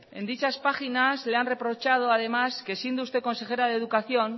en dichas páginas le han reprochado además que siendo usted consejera de educación